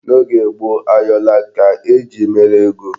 N'oge gboo, ayọla ka eji mere ego.